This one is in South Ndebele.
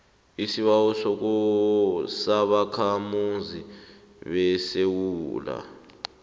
isibawo sobakhamuzi besewula